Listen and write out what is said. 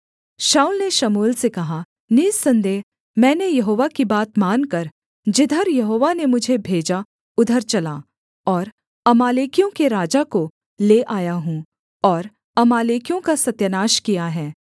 शाऊल ने शमूएल से कहा निःसन्देह मैंने यहोवा की बात मानकर जिधर यहोवा ने मुझे भेजा उधर चला और अमालेकियों के राजा को ले आया हूँ और अमालेकियों का सत्यानाश किया है